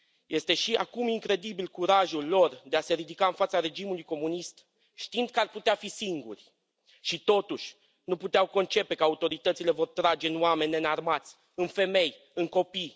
Este, și acum, incredibil, curajul lor de a se ridica în fața regimului comunist, știind că ar putea fi singuri, și totuși nu puteau concepe că autoritățile vor trage în oameni neînarmați, în femei, în copii.